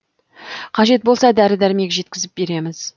қажет болса дәрі дәрмек жеткізіп береміз